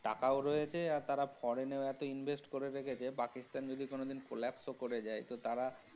টাকাও রয়েছে আর তারা foreign এও এতো invest করে রেখেছে পাকিস্তান যদি কোনোদিন collapse ও করে যায়। তো তারা।